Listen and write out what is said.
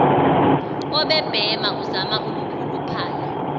obebhema uvama ukukhuluphala